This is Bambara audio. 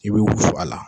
I bɛ wusu a la